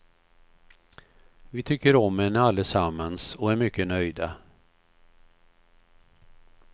Vi tycker om henne allesammans och är mycket nöjda.